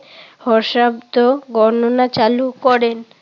হর্ষাব্দ গণনা চালু করেন।